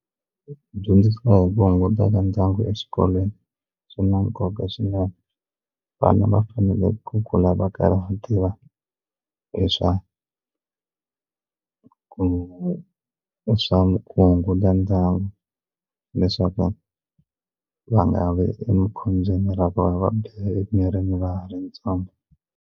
Ku dyondzisa hi ku kunguhata ka ndyangu exikolweni swi na nkoka swinene vana va fanele ku kula va karhi va tiva hi swa hi swa kunguhata ndyangu leswaku va nga vi emakhobyeni ra vona va biha emirini va ha ri ntsongo.